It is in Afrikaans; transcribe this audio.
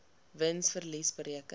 wins verlies bereken